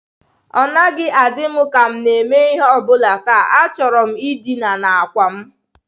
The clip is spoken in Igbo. Ọ naghị adị m ka m na-eme ihe ọ bụla taa, achọrọ m dina n'àkwà m.